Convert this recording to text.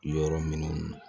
Yɔrɔ minnu na